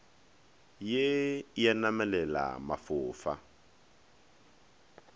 ye e a namelela mafofa